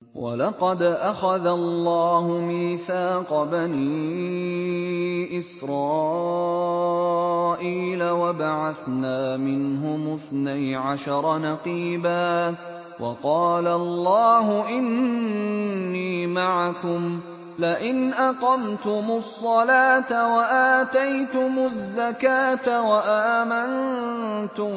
۞ وَلَقَدْ أَخَذَ اللَّهُ مِيثَاقَ بَنِي إِسْرَائِيلَ وَبَعَثْنَا مِنْهُمُ اثْنَيْ عَشَرَ نَقِيبًا ۖ وَقَالَ اللَّهُ إِنِّي مَعَكُمْ ۖ لَئِنْ أَقَمْتُمُ الصَّلَاةَ وَآتَيْتُمُ الزَّكَاةَ وَآمَنتُم